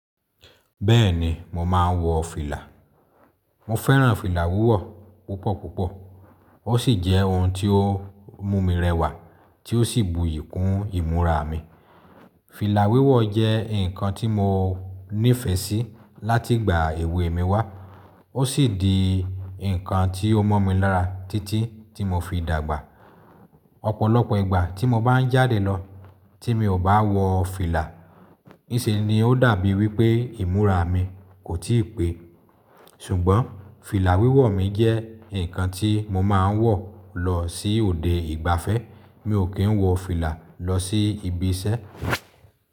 Bẹ́ẹ̀ni mo máa ń wọ fìlà. Mo fẹ́ràn fìlà wíwọ̀ púpọ̀ púpọ̀. Ó sì jẹ́ ohun tí ó mú mi rẹwà tí ó sì bùyì kún ìmúra mi. Fìlà wíwọ̀ jẹ́ nǹkan tí mo nífẹ̀ẹ́ sí láti ìgbà èwè mi wá. O sì di nǹkan tí ó mọ́ mi lára títí tí mo fi Ọ̀pọ̀lọpọ̀ ìgbà tí mo bá ń jáde lọ, tí mi ò bá wọ fìlà, níṣe ni ó dàbí wí pé ìmúra mi kò tíì pé. Sùgbọ́n fìlà wíwọ̀ mi jẹ́ nǹkan tí mo máa ń wọ̀ lọ sí òde ìgbafẹ́, mi ò kí ń wọ fìlà lọ sí ibi iṣẹ́.